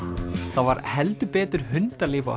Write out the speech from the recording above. það var heldur betur hundalíf á